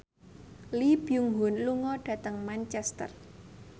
Lee Byung Hun lunga dhateng Manchester